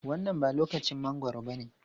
Wannan ba lokacin mangwaro bane.